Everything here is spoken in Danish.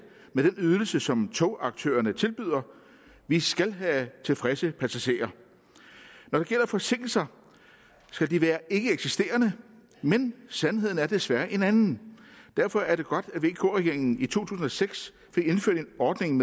med den ydelse som togaktørerne tilbyder vi skal have tilfredse passagerer når det gælder forsinkelser skal de være ikkeeksisterende men sandheden er desværre en anden derfor er det godt at vk regeringen i to tusind og seks fik indført en ordning